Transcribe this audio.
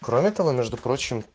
кроме того между прочим